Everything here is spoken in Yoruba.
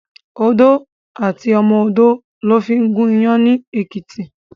Odó àti ọmọ odó lò fin gún iyàn ni Ekiti